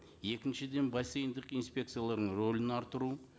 екіншіден бассейндік инспекцияларының рөлін арттыру